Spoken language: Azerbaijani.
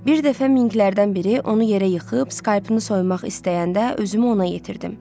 Bir dəfə Minklərdən biri onu yerə yıxıb, Skapını soymaq istəyəndə özümü ona yetirdim.